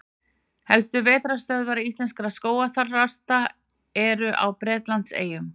Helstu vetrarstöðvar íslenskra skógarþrasta eru á Bretlandseyjum.